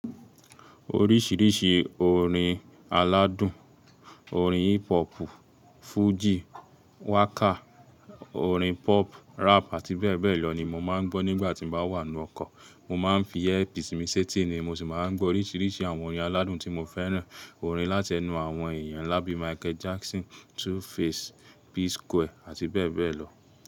Oríṣìríṣì orin aládùn, orin hip hop, fújì, wákà, orin pop, rap àti bẹ́ẹ̀ bẹ́ẹ̀ lọ ni mo máa ń gbọ́ nígbà tí n bá wà nínu oko. Mo máa ń fi earpiece mi sí etí ni mo sì máa ń gbọ́ oríṣíríṣí àwọn orin aládùn tí mo fẹ́ràn. Orin láti ẹnu àwọn èèyàn nla bi Michael Jackson, 2face, P Square àti bẹ́ẹ̀ bẹ́ẹ̀ lọ.